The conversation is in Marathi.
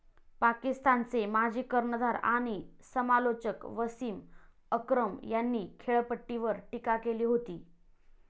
पाकिस्तानचे माजी कर्णधार आणि समालोचक वसिम अक्रम यांनी खेळपट्टीवर टीका केली होती.